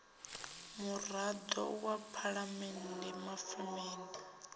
murado wa phalamende phafamende ya